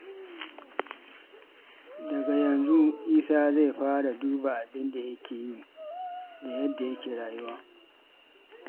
Daga yanzu, Isa zai fara duba abin da yake yi da yadda yake rayuwa.